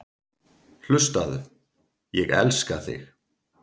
Hlustaðu: Ég elska þig.